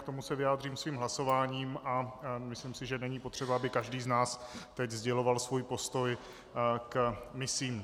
K tomu se vyjádřím svým hlasováním a myslím si, že není potřeba, aby každý z nás teď sděloval svůj postoj k misím.